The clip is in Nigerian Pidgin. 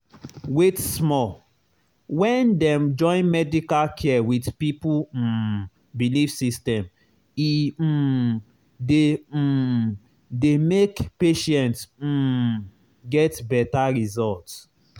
wait small — when dem join medical care with people um belief system e um dey um dey make patient um get better result.